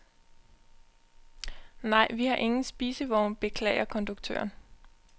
Nej, vi har ingen spisevogn, beklager konduktøren.